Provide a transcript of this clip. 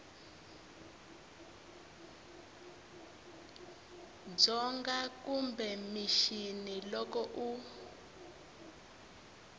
dzonga kumbe mixini loko u